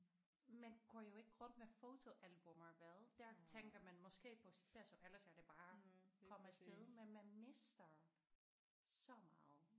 Man går jo ikke rundt med fotoalbummer vel der tænker man måske på ellers er det bare kom afsted men man mister så meget